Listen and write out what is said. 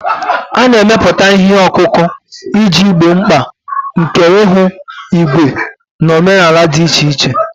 A na-emepụta ihe ọkụkụ iji gboo mkpa nke ihu igwe na omenala dị iche iche.